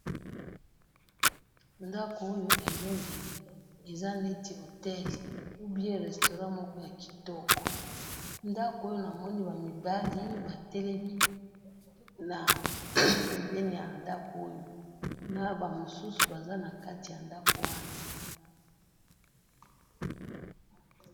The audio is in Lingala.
Na moni ndako kitoko ezo ngenga na ba mibali batelemi liboso na ba mususu baza nakati.